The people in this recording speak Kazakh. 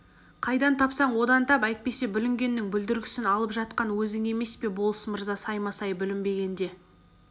қайдан тапсаң одан тап әйтпесе бүлінгеннің бүлдіргісін алып жатқан өзің емес пе болыс мырза саймасай бүлінбегенде